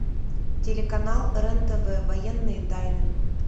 телеканал рен тв военные тайны